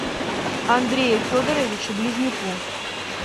андрею федоровичу близнюку